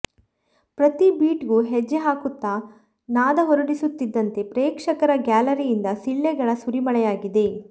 ಪ್ರತೀ ಬೀಟ್ ಗೂ ಹೆಜ್ಜೆ ಹಾಕುತ್ತಾ ನಾದ ಹೊರಡಿಸುತ್ತಿದ್ದಂತೆ ಪ್ರೇಕ್ಷಕರ ಗ್ಯಾಲರಿಯಿಂದ ಸಿಳ್ಳೆಗಳ ಸುರಿಮಳೆಯಾಗಿದೆ